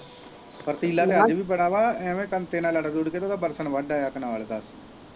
ਫੁਰਤੀਲਾ ਤਾਂ ਅੱਜ ਵੀ ਬੜਾ ਵਾ ਐਂਵੇ ਬੰਤੇ ਨਾਲ ਲੜ ਲੁੜ ਕੇ ਤੇ ਉਹਦਾ ਬਰਸਨ ਵੱਡ ਆਇਆ .